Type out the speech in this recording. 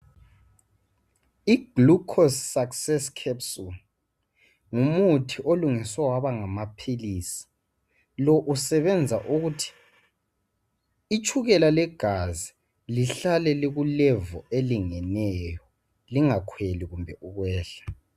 i glucose success capsule ngumuthi olungiswe waba ngamaphilisi ,lo usebenza ukuthi itshukela legazi lihlale liku level elingeneyo lingakhweli kumbe ukwehla